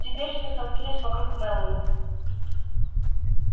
теперь все столпились вокруг мэллоу